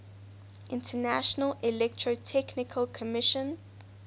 international electrotechnical commission